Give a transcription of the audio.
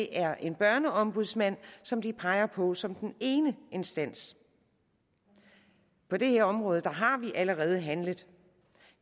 er en børneombudsmand som de peger på som den ene instans på det her område har vi allerede handlet